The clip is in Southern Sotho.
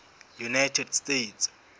united states